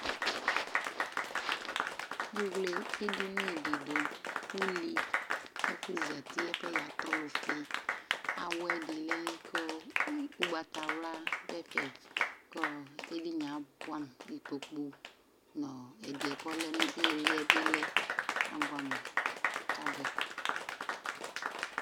Evle edini dɩ kʋ, uli, ɛfʋ zati, ɛfʋ yɛ yatɛ ɔlʋfɩ Awɛ dɩ lɛ kʋ ɔ ʋgbatawla dʋ ɛfɛ kʋ ɔ edini yɛ abʋɛamʋ Ikpoku nʋ ɔ ɛdɩ yɛ kʋ ɔlɛ nʋ ɩɩlɩ yɛ bɩ lɛ Abʋɛamʋ kʋ abʋɛ